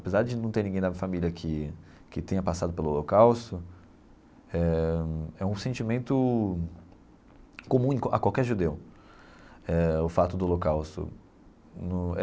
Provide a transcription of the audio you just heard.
Apesar de não ter ninguém da minha família que que tenha passado pelo Holocausto, eh é um sentimento comum a qualquer judeu, eh o fato do Holocausto no.